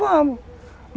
Vamos.